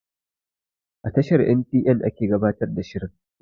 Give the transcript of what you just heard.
A tashar en tee eh ake gabatar da shirin